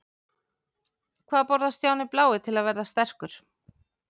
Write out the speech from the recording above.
Hvað borðar Stjáni blái til að verða sterkur?